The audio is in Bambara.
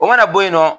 O mana bɔ yen nɔ